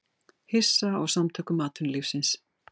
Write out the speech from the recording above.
Hissa á Samtökum atvinnulífsins